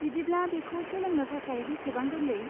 बिदिब्ला, बेखौ सोलोंनो थाखाय बेसेबां गोरलै?